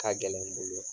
Ka gɛlɛn n bolo